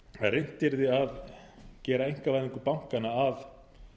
reynt yrði að gera einkavæðingu bankanna að